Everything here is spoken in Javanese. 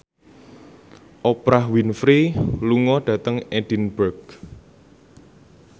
Oprah Winfrey lunga dhateng Edinburgh